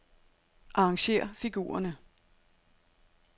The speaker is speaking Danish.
Arrangér figurerne.